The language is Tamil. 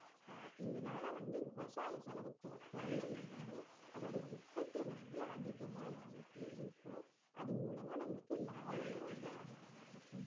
அஹ் இதனால வந்து விவசாய செலவு கொ~ கொறஞ்சு இருந்தாலும் அதோட உற்பத்தி வந்து அதிகமா நமளுக்கு இருக்கும் அதன் மூலமா நம்மளுக்கு லாபமும் வந்து அதிகமா இருக்கும்